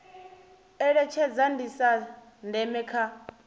eletshedza ndi zwa ndeme kha